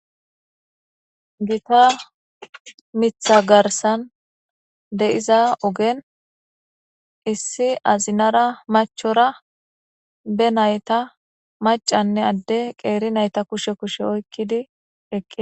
Giita miththa garssan deiiza oggen issi azinara machchira be naytta maccane ade qeeri naytta kushshe kushshe oyqidi eqqida.